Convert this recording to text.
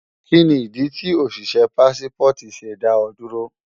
Kíni ìdí tí òṣìṣé Pássípọ̀tì ṣe dá ọ dúró?